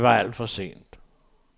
Det var alt for sent.